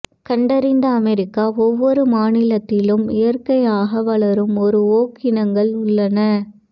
கண்டறிந்த அமெரிக்க ஒவ்வொரு மாநிலத்திலும் இயற்கையாக வளரும் ஒரு ஓக் இனங்கள் உள்ளன